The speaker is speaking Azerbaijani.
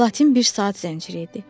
Platin bir saat zənciri idi.